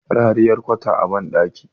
rariyar kwata a bandaki